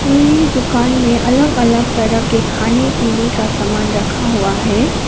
पुरी दुकान में अलग अलग तरह के खाने पीने का समान रखा हुआ हैं।